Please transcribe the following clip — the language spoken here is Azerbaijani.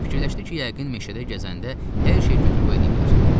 Fikirləşdi ki, yəqin meşəyə gəzəndə hər şey götür-qoy eləyiblər.